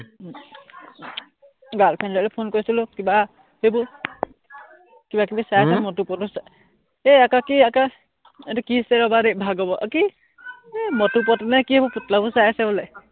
girl friend লে phone কৰিছিলো, কিবা সেইবোৰ কিবাকিবি চাই আছে হম মটু পটু হম এই আকা কি আকা, এইটো কি আছিলে ৰবা দেই ভাগৱ আহ কি এৰ মটু পটলু নে কি সেইবোৰ চাই আছে বোলে